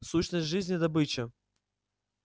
сущность жизни добыча